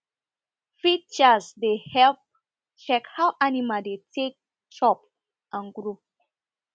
feed charts dey help check how animal dey take dey take chop and grow